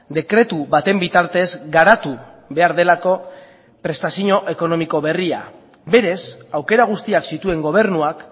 dekretu baten bitartez garatu behar delako prestazio ekonomiko berria berez aukera guztiak zituen gobernuak